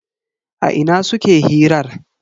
A ina suke hirar?